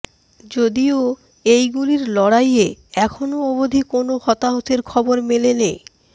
যদিও এই গুলির লড়াইয়ে এখনও অবধি কোনও হতাহতের খবর মেলেনি